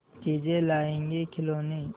चीजें लाएँगेखिलौने